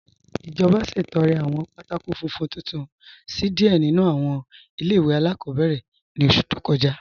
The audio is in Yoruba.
Ijọba ṣẹ̀tọ̀rẹ̀ awọn pátákò fúnfún tuntun sí díẹ̀ nínu awọn ilẹ̀-iwe aláàkọ̀bẹ̀rẹ̀ ni ọṣù tó kọja.